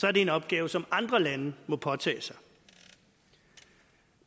er det en opgave som andre lande må påtage sig